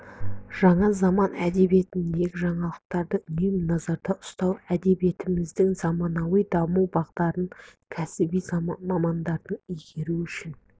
жаңа заман әдебиетіндегі жаңалықты үнемі назарда ұстау әдебиетіміздің заманауи даму бағдарын кәсіби мамандардың игеру үшін